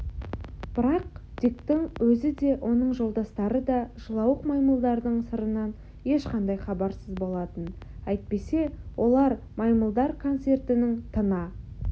бірақ диктің өзі де оның жолдастары да жылауық маймылдардың сырынан ешқандай хабарсыз болатын әйтпесе олар маймылдар концертінің тына